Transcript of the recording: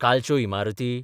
कालच्यो इमारती?